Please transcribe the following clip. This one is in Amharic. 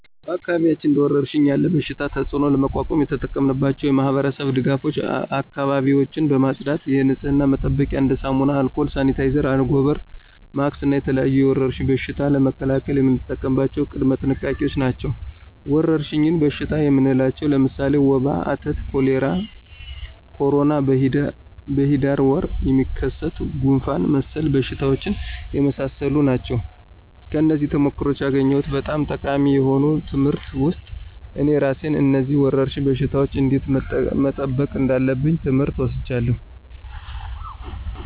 በአካባቢዎች እንደ ወረርሽኝ ያለ በሽታቸው ተፅእኖ ለመቋቋም የተጠቀምናቸው የማህበረሰብ ድጋፎች አካባቢዎችን በማፅዳት የንፅህና መጠበቂያ እንደ ሳሙና፣ አልኮል፣ ሳኒታይዘር፣ አንጎበር፣ ማክስ እና የተለያዩ የወረርሽኝ በሽታ ለመከላከል የምንጠቀምባቸው ቅድመ ጥንቃቄዎች ናቸው። ወረርሽኝ በሽታ የምንላቸው ለምሳሌ ወባ፣ አተት፣ ኮሌራ፣ ኮሮና፣ በሂዳር ወር የሚከሰት ጉንፍን መሰል በሽታዎች የመሳሰሉ ናቸው። ከነዚህም ተሞክሮዎች ያገኘሁት በጣም ጠቃሚ የሆኑ ትምህርት ውስጥ እኔ እራሴን ከነዚህ ወረርሽኝ በሽታወች እንዴት መጠበቅ እንዳለብኝ ትምህር ወስጃለሁ።